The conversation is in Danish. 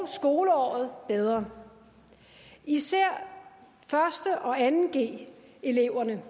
skoleåret bedre især første og anden g eleverne